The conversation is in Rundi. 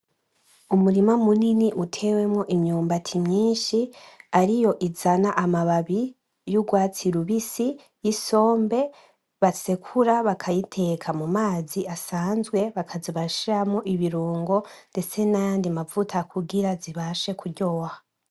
Umurima munini utewemo imyumbati myinshi, ariyo azana amababi yugwatsi rubisi yisombe basekura bakayiteka mumazi asanzwe bakaza barashiramwo ibirungo ndetse nayandi mavuta kugira zibashe kuryoha.